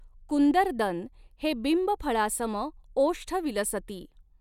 कुंदरदन हे बिंब फळासम ओष्ठ विलसती।